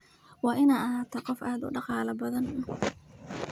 Waad ina ahatahy qof aad udadhal badhan.